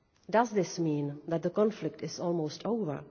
Does this mean that the conflict is almost over?